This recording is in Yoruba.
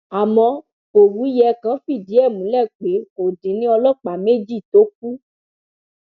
àmọ òwúyẹ kan fìdí ẹ múlẹ pé kò dín ní ọlọpàá méjì tó kù